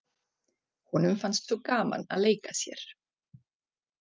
Honum fannst svo gaman að leika sér.